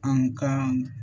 An ka